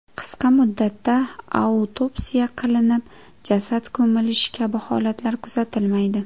Qisqa muddatda autopsiya qilinib jasad ko‘milishi kabi holatlar kuzatilmaydi.